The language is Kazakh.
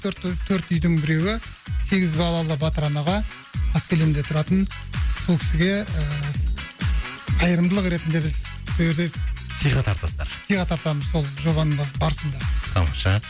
төрт төрт үйдің біреуі сегіз балалы батыр анаға қаскелеңде тұратын сол кісіге ыыы қайырымдылық ретінде біз сойерде сыйға тартасыздар сыйға тартамыз сол жобаның барысында тамаша